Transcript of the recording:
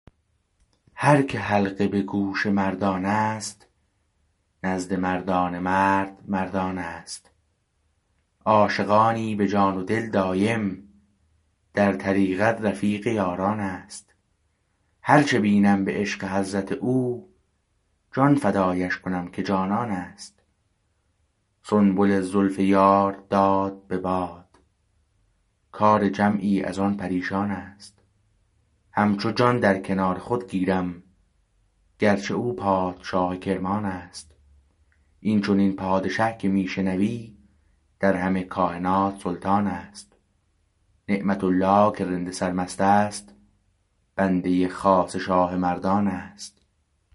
هر که حلقه به گوش مردانست نزد مردان مرد مرد آنست عاشقانی به جان و دل دایم در طریقت رفیق یارانست هرچه بینم به عشق حضرت او جان فدایش کنم که جانانست سنبل زلف یار داد به باد کار جمعی از آن پریشانست همچو جان در کنار خود گیرم گرچه او پادشاه کرمانست این چنین پادشه که می شنوی در همه کاینات سلطانست نعمت الله که رند سرمست است بنده خاص شاه مردانست